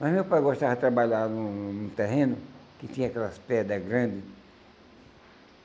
Mas meu pai gostava de trabalhar num num terreno que tinha aquelas pedras grandes.